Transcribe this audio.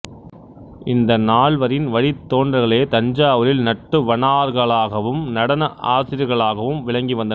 இந்த நால்வரின் வழித் தோன்றல்களே தஞ்சாவூரில் நட்டுவனார்களாகவும் நடன ஆசிரியர்களாகவும் விளங்கி வந்தனர்